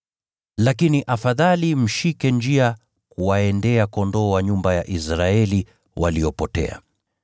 Lakini afadhali mshike njia kuwaendea kondoo wa nyumba ya Israeli waliopotea.